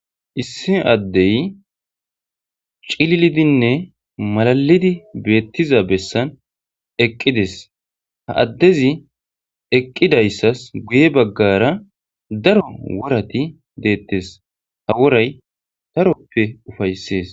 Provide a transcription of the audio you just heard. Issi addee cililidinne malallidi beettizabessan eqqi des; ha addezi eqqidazayssas guye baggaara daro worati beettees; ha woray daroppe ufayssees.